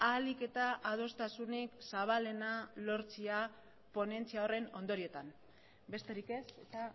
ahalik eta adostasunik zabalena lortzea ponentzia horren ondoriotan besterik ez eta